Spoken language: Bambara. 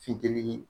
Funtenin